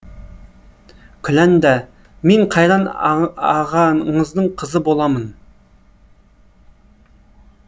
күләнда мен қайран ағаңыздың қызы боламын